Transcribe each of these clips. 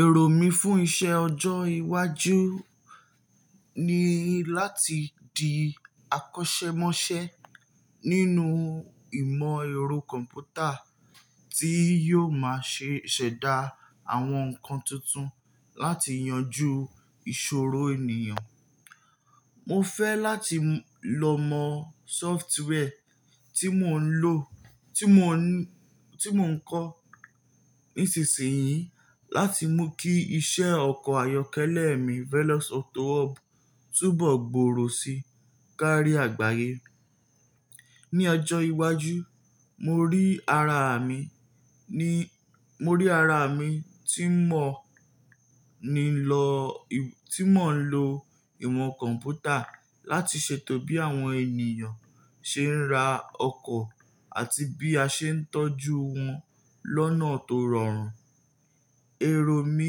Èrò mí fún iṣẹ́ ọjọ́ iwájú ni láti di akọ́ṣẹ́mọṣẹ́ nínú ìmọ̀ ẹ̀rọ kọ̀m̀pútà tí yóò máa ṣe ṣẹ̀dá àwọn nǹkan tuntun láti yanjú ìṣòro ènìyàn. Mo fẹ́ láti lọ mọ́ software tí mò ń lo, tí mò ń kó nísinsìnyí láti mú kí iṣẹ́ ọkọ̀ ayọ́kẹ́lẹ́ mi Veloz Auto Hub túbọ̀ gbòòrò sí kárí àgbáyé. Ni ọjọ́ iwájú, mo rí ara mi tí mò ń lo ìmọ̀ kọ̀m̀pútà láti ṣètò bí àwọn ènìyàn ṣe ń ra ọkọ̀ àti bí a ṣe ń tọ́jú wọn lọ́nà tó rọrùn. Èrò mí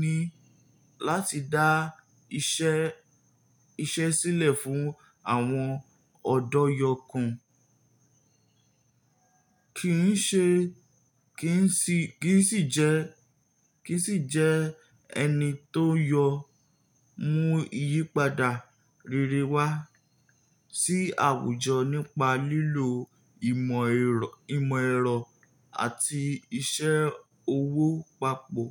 ni láti dá iṣẹ́ sílẹ̀ fún àwọn ọ̀dọ́yọkùn. Kì ń sì jẹ́ ẹni tó yọ mú ìyípadà rere wá sí àwùjọ nípa lílo ìmọ̀ ẹ̀rọ àti iṣẹ́ owó pàpọ̀.